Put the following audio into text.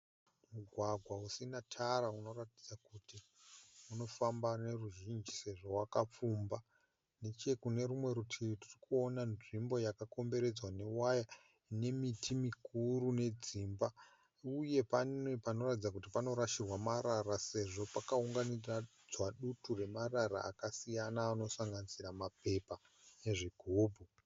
Mugwagwa usina tara unoratidza kuti unofamba noruzhinji sezvo wakapfumba. Nechekune rumwe rutivi tiri kuona nzvimbo yakakomberedzwa newaya ine miti mikuru nedzimba uye pane panoratidza kuti panorashirwa marara sezvo pakaunganidzwa dutu ramarara akasiyana anosanganisira mapepa nezvigubhu.